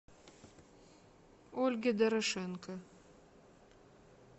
ольге дорошенко